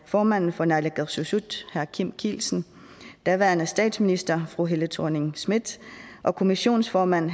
formanden for naalakkersuisut herre kim kielsen daværende statsminister fru helle thorning schmidt og kommissionsformand